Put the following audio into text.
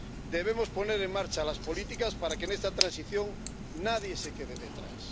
Debemos poner en marcha las políticas para que en esta transición nadie se quede atrás.